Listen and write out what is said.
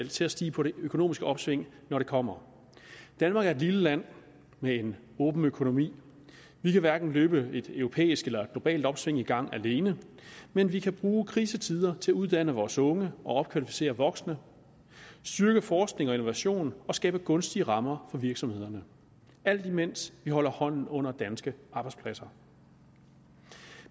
til at stige på det økonomiske opsving når det kommer danmark er et lille land med en åben økonomi vi kan hverken løbe et europæisk eller globalt opsving i gang alene men vi kan bruge krisetider til at uddanne vores unge og opkvalificere voksne styrke forskning og innovation og skabe gunstige rammer for virksomhederne alt imens vi holder hånden under danske arbejdspladser